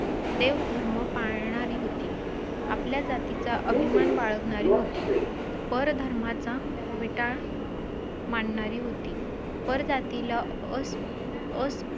तु जी गोष्ट करतोयस ना त्यासाठी खूप धाडस लागतं रे .